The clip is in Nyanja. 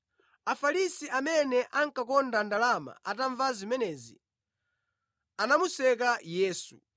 Afarisi amene ankakonda ndalama atamva zimenezi anamuseka Yesu.